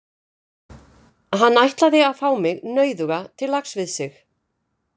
Hann ætlaði að fá mig, nauðuga, til lags við sig.